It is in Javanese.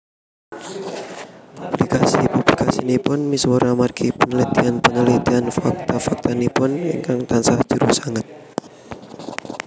Publikasi publikasinipun misuwur amargi penelitian penelitian fakta faktanipun ingkang tansah jero sanget